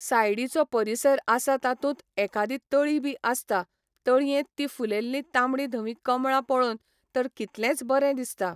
सायडीचो परीसर आसा तातूंत एकादी तळी बी आसता तळयेंत ती फुल्लेली तांबडी धवी कमळां पळोवन तर कितलेंच बरें दिसता